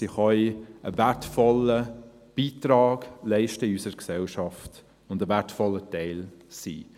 Sie können einen wertvollen Beitrag in unserer Gesellschaft leisten und ein wertvoller Teil sein.